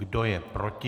Kdo je proti?